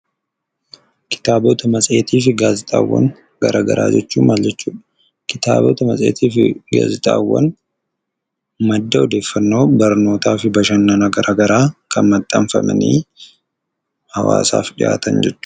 Kitaabota, Matseetii fi Gaazexaawwan gara garaa jechuun maal jechuudha? Kitaabota, Matseetii fi Gaazexaawwan madda odeeffannoo, barnootaa fi bashannana gara garaa kan maxxanfamanii hawwaasaaf dhiyaatan jechuudha.